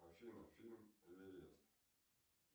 афина фильм эверест